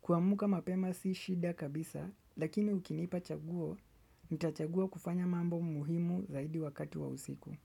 Kuamka mapema si shida kabisa, lakini ukinipa chaguo, nitachagua kufanya mambo muhimu zaidi wakati wa usiku.